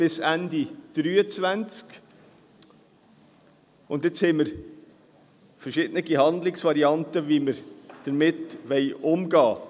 Jetzt haben wir verschiedene Handlungsvarianten, wie wir damit umgehen wollen.